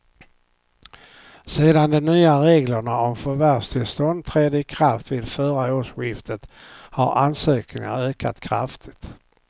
Sedan de nya reglerna om förvärvstillstånd trädde i kraft vid förra årsskiftet har ansökningarna ökat kraftigt.